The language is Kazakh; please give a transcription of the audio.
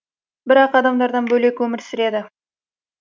бірақ адамдардан бөлек өмір сүреді